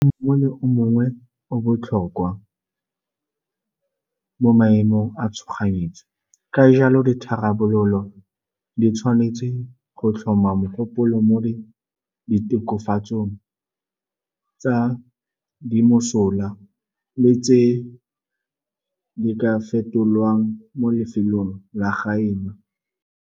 Mongwe le mongwe o botlhokwa mo maemong a tshoganyetso, ka jalo ditharabololo di tshwanetse go tlhoma mogopolo mo di tokafatsong tsa di mosola le tse di ka fetolwang mo lefelong la gaeno.